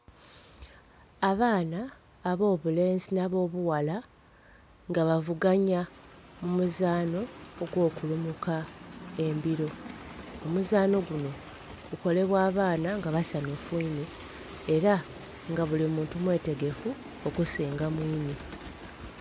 Abaana ab'obulenzi nhi ab'obughala nga bavuganhya mu muzaano ogw'okulumuka embiro. Omuzaano guno gukolebwa abaana nga basanhufu inho, era nga buli muntu mwetegefu okusinga mwinhe.